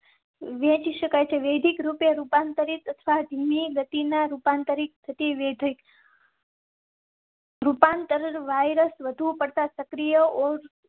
વહેંચી શકાય છે. વેદિક રૂપાંતરિત અથવા ધીમે ગતિ ના રૂપાંતરિત થતી વેધક. રૂપાંતર વાઇરસ વધુ પડતા સક્રિય ઔર